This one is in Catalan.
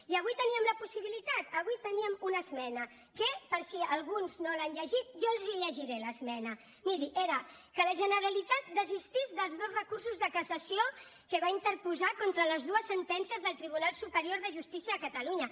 i avui teníem la possibilitat avui teníem una esmena que per si alguns no l’han llegit jo els la llegiré l’esmena miri era que la generalitat desistís dels dos recursos de cassació que va interposar contra les dues sentències del tribunal superior de justícia de catalunya